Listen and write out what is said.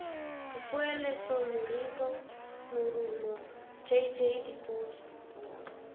dipoeletso moribo morumo jj dipotso